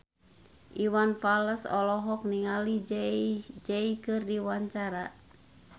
Iwan Fals olohok ningali Jay Z keur diwawancara